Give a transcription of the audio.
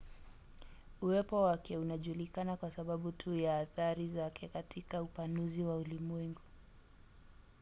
uwepo wake unajulikana kwa sababu tu ya athari zake katika upanuzi wa ulimwengu